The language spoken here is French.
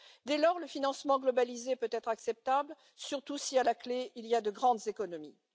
Dès lors, le financement globalisé peut être acceptable, surtout si à la clé, il y a de grandes économies.